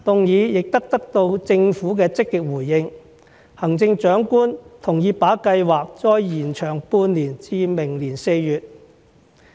議案亦得到政府積極回應，行政長官同意把計劃再延長半年至明年4月。